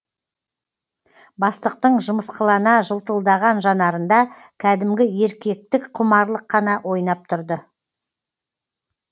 бастықтың жымысқылана жылтылдаған жанарында кәдімгі еркектік құмарлық қана ойнап тұрды